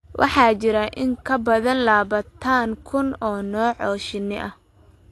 Waxaa jira in ka badan labaatan kun oo nooc oo shinni ah.